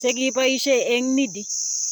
Chekiboisie eng Needy